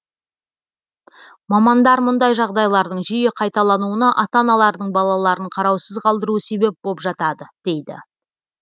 мамандар мұндай жағдайлардың жиі қайталануына ата аналардың балаларын қараусыз қалдыруы себеп боп жатады дейді